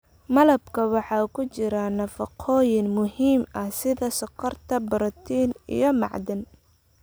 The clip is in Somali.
Malabka waxaa ku jira nafaqooyin muhiim ah sida sonkor, borotiin iyo macdan.